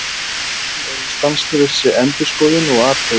Málin eru í stanslausri endurskoðun og athugun.